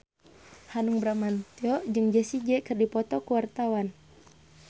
Hanung Bramantyo jeung Jessie J keur dipoto ku wartawan